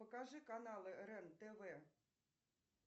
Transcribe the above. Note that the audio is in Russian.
покажи каналы рен тв